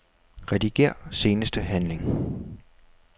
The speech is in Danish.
Rediger seneste handling.